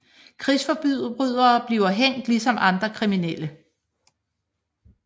Krigsforbrydere bliver hængt ligesom andre kriminelle